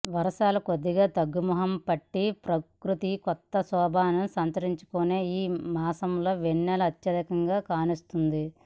వర్షాలు కొద్దిగా తగ్గుముఖం పట్టి ప్రకృతి కొత్త శోభను సంతరించుకునే ఈ మాసంలో వెన్నెల అత్యధికంగా కాస్తుంది